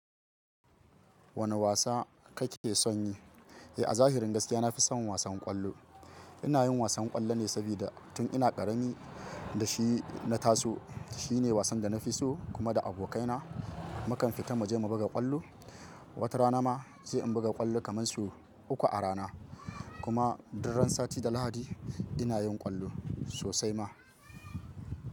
Wane wasa kake son yi? Eh, a zahirin gaskiya, na fi son wasan ƙwallo. Ina yin wasan ƙwallo ne saboda tun ina ƙarami da shi na taso. Shi ne wasan da na fi so kuma da abokaina mu kan fita mu je mu buga ƙwallo. Wata rana ma sai in buga ƙwallo kaman so uku a rana. Kuma duk ran sati da Lahadi ina yin ƙwallo sosai ma.